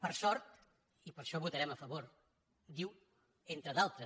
per sort i per això hi votarem a favor diu entre d’altres